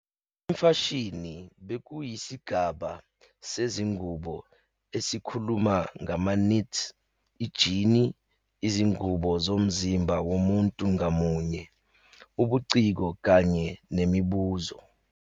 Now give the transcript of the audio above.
Imfashini bekuyisigaba sezingubo esikhuluma ngama-knits, ijini, izingubo zomzimba womuntu ngamunye, ubuciko kanye nemibuzo.